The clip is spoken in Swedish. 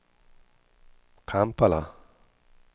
Kampala